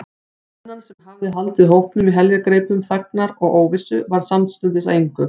Spennan, sem hafði haldið hópnum í heljargreipum þagnar og óvissu, varð samstundis að engu.